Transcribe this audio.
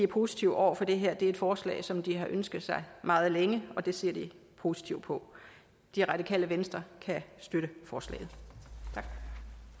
positive over for det her det er et forslag som de har ønsket sig meget længe og det ser de positivt på det radikale venstre kan støtte forslaget